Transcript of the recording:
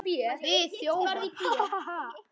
Við þjófar, ha, ha, ha.